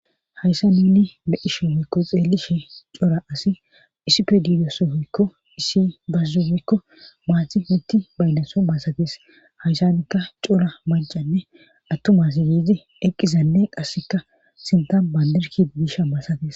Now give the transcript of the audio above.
Hayssa ninni be7isho hoykko xeellishe cola asi issife diidoso hoykko issi bazzubekko maathi mitti baydaso maasatees hayssanikka cora macanne attumas yiezi eqqizanne qasseka sinta bandirki biisha maasates.